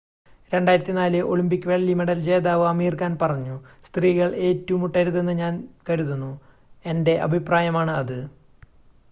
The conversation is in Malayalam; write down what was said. "2004 ഒളിമ്പിക് വെള്ളി മെഡൽ ജേതാവ് അമീർ ഖാൻ പറഞ്ഞു "സ്ത്രീകൾ ഏറ്റുമുട്ടരുതെന്ന് ഞാൻ കരുതുന്നു. എന്റെ അഭിപ്രായമാണ് അത്.""